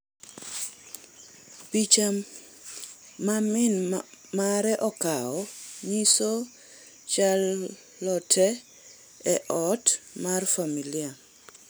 Picha, ma min mare okawo, nyiso Charlotte e ot mar familia.